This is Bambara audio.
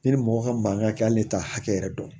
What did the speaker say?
Ne ni mɔgɔ ka mankan kɛ hali ne t'a hakɛ yɛrɛ dɔn